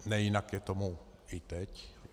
Nejinak je tomu i teď.